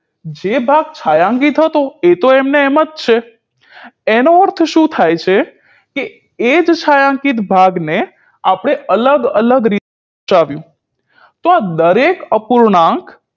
જે ભાગ છાંયાંકીત હતો એ તો એમ નો એમ જ છે એનો અર્થ શું થાય છે કે એ જ છાંયાંકીત ભાગને આપણે અલગ અલગ રીતે દર્શાવ્યું તો દરેક અપૂર્ણાંક